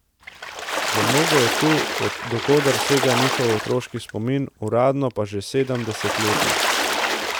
Za mnoge je tu, do koder sega njihov otroški spomin, uradno pa že sedem desetletij.